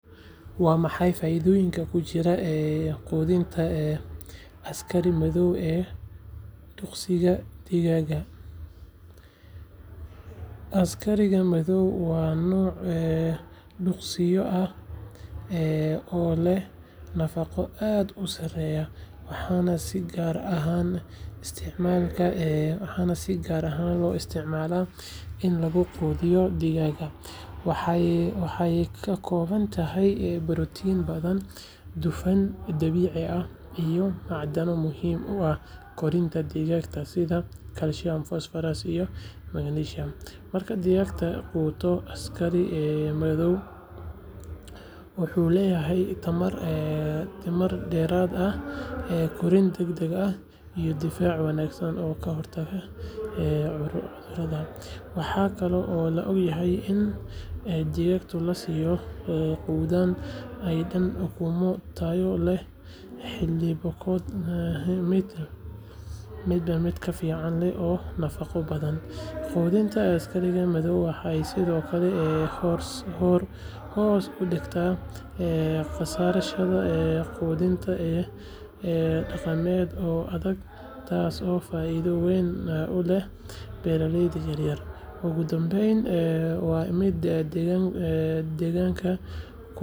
Waa maxay faa’iidooyinka ku jira quudinta askari madow ee duqsiga digaaga? Askariga madow waa nooc duqsiyo ah oo leh nafaqo aad u sareysa, waxaana si gaar ah loo isticmaalaa in lagu quudiyo digaaga. Waxay ka kooban tahay borotiin badan, dufan dabiici ah, iyo macdano muhiim u ah koritaanka digaaga sida calcium, phosphorus, iyo magnesium. Marka digaagu quuto askari madow, wuxuu helayaa tamar dheeraad ah, korriin degdeg ah, iyo difaac wanaagsan oo ka hortaga cudurrada. Waxaa kaloo la ogaaday in digaagga la siiyo quudadan ay dhalaan ukumo tayo leh, hilibkooduna noqdo mid dhadhan fiican leh oo nafaqo badan. Quudinta askariga madow waxay sidoo kale hoos u dhigtaa kharashka quudinta dhaqameed ee adag, taasoo faa’iido weyn u leh beeraleyda yaryar. Ugu dambayn, waa mid deegaanka u roon, maadaama lagu quudiyo waxyaabo dib u warshadeyn ah oo aan kharibeyn deegaanka. Taas ayaa ka dhigaysa askariga madow quudin dabiici ah, raqiis ah, waxtar leh, isla markaana.